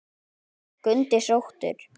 Skundi sóttur